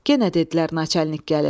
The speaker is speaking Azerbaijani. Yenə dedilər naçalnik gəlir.